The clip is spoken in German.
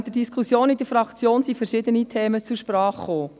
Während der Diskussion in der Fraktion kamen verschiedene Themen zu Sprache: